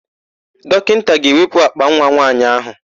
Dọkịnta ga-ewepụ àkpànwa nwaanyị áhụ̀.